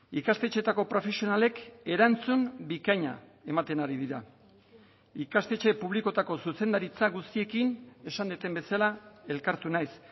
ikastetxeetako profesionalek erantzun bikaina ematen ari dira ikastetxe publikoetako zuzendaritza guztiekin esan dudan bezala elkartu naiz